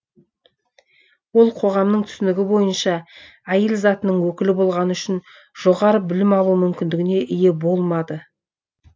ол қоғамның түсінігі бойынша әйел затының өкілі болғаны үшін жоғары білім алу мүмкіндігіне ие болмады